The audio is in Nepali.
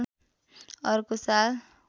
अर्को साल